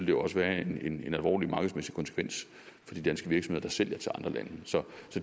jo også være en alvorlig markedsmæssig konsekvens for de danske virksomheder der sælger til andre lande så